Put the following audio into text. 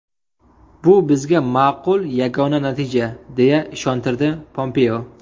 Bu bizga maqbul yagona natija”, deya ishontirdi Pompeo.